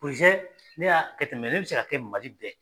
ne y'a kɛ ten mɛ ne bɛ se ka kɛ Mali bɛ